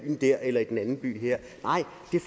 der eller den anden by her